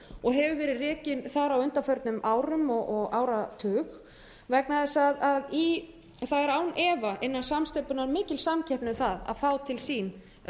og hefur verið rekinn þar á undanförnum árum og áratug vegna þess að það er án efa innan samsteypunnar mikil samkeppni um að fá til sín